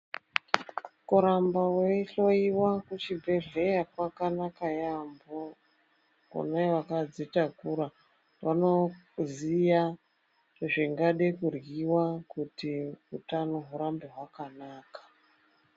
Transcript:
Koramba woyihloyiwa kuchibhedhleya kwakanaka yambo. Kunevakadzitakura vanoziya zvingade kudliwa kuti hutano wurambe wakanaka.